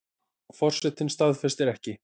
Forsetinn staðfestir ekki